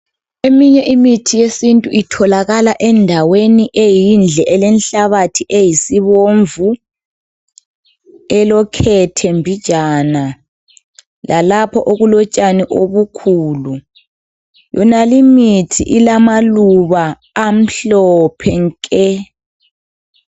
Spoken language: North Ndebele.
Eminye imithi yesintu itholakala endaweni eyindle elenhlabathi eyisibomvu , elokhethe mbijana lalapho okulotshani obukhulu. Yonale imithi ilamaluba amhlophe nke.